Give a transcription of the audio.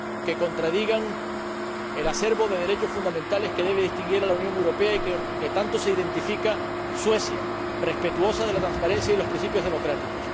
que contradigan el acervo de derechos fundamentales que debe distinguir a la Unión Europea y con el que tanto se identifica Suecia, respetuosa de la transparencia y los principios democráticos.